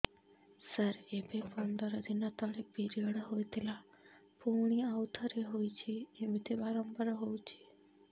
ସାର ଏବେ ପନ୍ଦର ଦିନ ତଳେ ପିରିଅଡ଼ ହୋଇଥିଲା ପୁଣି ଆଉଥରେ ହୋଇଛି ଏମିତି ବାରମ୍ବାର ହଉଛି